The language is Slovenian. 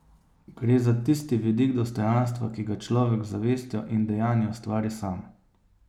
Gre za tisti vidik dostojanstva, ki ga človek z zavestjo in dejanji ustvari sam.